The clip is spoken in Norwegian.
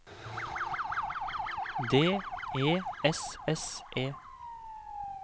D E S S E